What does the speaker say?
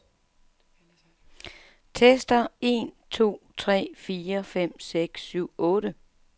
Tester en to tre fire fem seks syv otte.